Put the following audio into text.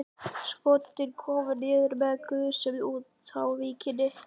Skotin komu niður með gusum utar á víkinni.